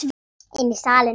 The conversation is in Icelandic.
Inn í salinn.